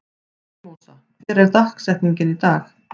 Mímósa, hver er dagsetningin í dag?